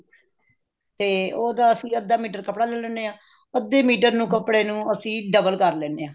ਤੇ ਉਹਦਾ ਅਸੀਂ ਅੱਧਾ ਮੀਟਰ ਕੱਪੜਾ ਲੈ ਲੈਣੇ ਹਾਂ ਅੱਧੇ ਮੀਟਰ ਨੂੰ ਕੱਪੜੇ ਨੂੰ ਅਸੀਂ double ਕਰ ਲੈਂਦੇ ਹਾਂ